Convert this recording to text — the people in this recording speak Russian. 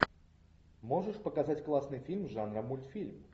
можешь показать классный фильм жанра мультфильм